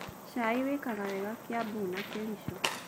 Cai wĩkaga wega Kiambu na Kericho.